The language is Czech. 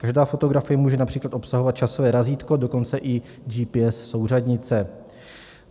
Každá fotografie může například obsahovat časové razítko, dokonce i GPS souřadnice.